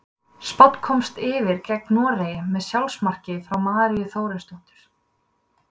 Spánn komst yfir gegn Noregi með sjálfsmarki frá Maríu Þórisdóttur.